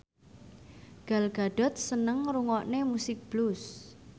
Gal Gadot seneng ngrungokne musik blues